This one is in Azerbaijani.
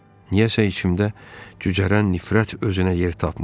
Niyəsə içimdə cücərən nifrət özünə yer tapmırdı.